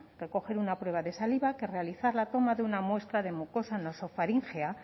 recoger una prueba de saliva que realizar la toma de una muestra de mucosa nasofaríngea